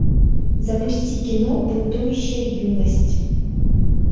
запусти кино бунтующая юность